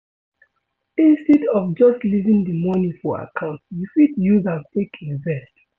instead of just leaving di money for account, you fit use am take invest